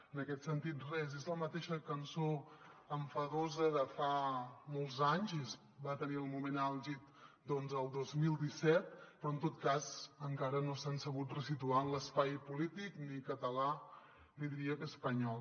en aquest sentit res és la mateixa cançó enfadosa de fa molts anys i va tenir el moment àlgid el dos mil disset però en tot cas encara no s’han sabut ressituar en l’espai polític ni català ni diria que espanyol